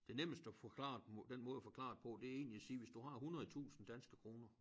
Det nemmeste at forklare dem den måde at forklare det på det egentlig at sige hvis du har 100 tusind danske kroner